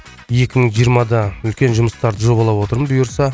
екі мың жиырмада үлкен жұмыстарды жобалап отырмын бұйырса